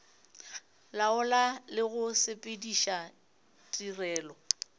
laola le go sepediša tirelo